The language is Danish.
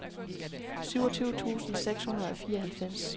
syvogtyve tusind seks hundrede og fireoghalvfems